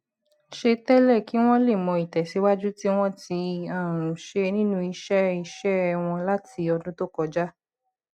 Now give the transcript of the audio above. ṣe tẹlẹ kí wọn lè mọ ìtẹsíwájú tí wọn ti um ṣe nínú iṣẹ iṣẹ wọn láti ọdún tó kọjá